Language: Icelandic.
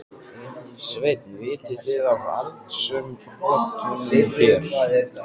Sveinn: Vitið þið af eldsumbrotunum hér?